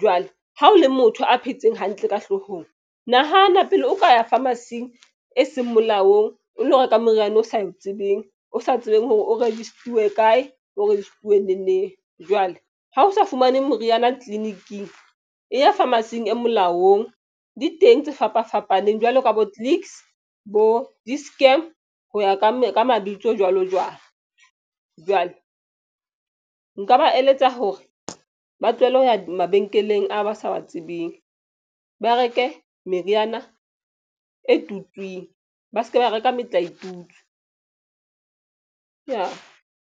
Jwale ha o le motho a phetseng hantle ka hlohong. Nahana pele o ka ya pharmacy-ing e seng molaong o lo reka moriana o sa e tsebeng, o sa tsebeng hore o register-uwe kae bo registiwe ne neng jwale ha o sa fumaneng moriana tleliniking e ya pharmacy-ing e molaong di teng tse fapafapaneng jwalo ka bo Clicks bo Dischem. Ho ya ka mabitso jwalo jwalo jwalo. Nka ba eletsa hore ba tlohelle ho ya mabenkeleng a ba sa ba tsebeng ba reke meriana e tutsweng ba se ke ba reka metlaetutswe ka.